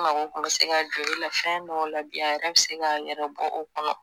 N mago kun bɛ se ka jɔ e la fɛn dɔw la bi a yɛrɛ bɛ se k'a yɛrɛ bɔ o kɔnɔ.